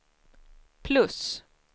plus